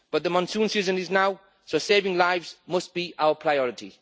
But the monsoon season is now, so saving lives must be our priority.